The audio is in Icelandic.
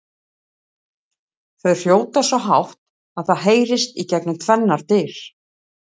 Þau hrjóta svo hátt að það heyrist gegnum tvennar dyr!